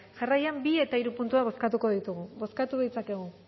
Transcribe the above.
jarraian bi eta hiru puntuak bozkatuko ditugu bozkatu ditzakegu